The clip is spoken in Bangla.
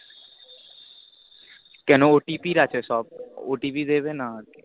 কেন OTP আছে সব OTP দেবে না আর